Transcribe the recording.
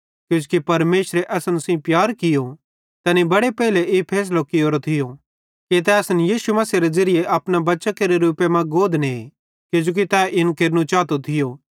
किजोकि परमेशरे असन सेइं प्यार कियो तैनी बड़े पेइले ई फैसलो कियोरो थियो कि तै असन यीशु मसीहेरे ज़िरिये अपने बच्चां केरे रूपे मां गोद ने किजोकि तै इन केरू चातो थियो